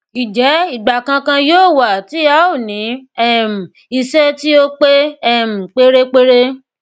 ǹjẹ ìgbà kankan yóò wà tí a ó ní um iṣẹ tí ó pé um pérépéré